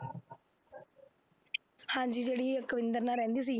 ਹਾਂਜੀ ਜਿਹੜੀ ਅਕਵਿੰਦਰ ਨਾਲ ਰਹਿੰਦੀ ਸੀਗੀ